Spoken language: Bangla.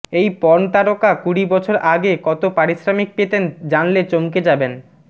এই পর্নতারকা কুড়ি বছর আগে কত পারিশ্রমিক পেতেন জানলে চমকে যাবেন